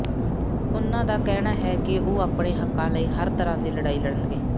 ਉਨ੍ਹਾਂ ਦਾ ਕਹਿਣਾ ਹੈ ਕਿ ਉਹ ਆਪਣੇ ਹੱਕਾਂ ਲਈ ਹਰ ਤਰ੍ਹਾਂ ਦੀ ਲੜਾਈ ਲੜਣਗੇ